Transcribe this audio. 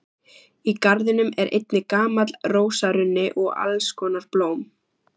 Í garðinum er einnig gamall rósarunni og alls konar blóm.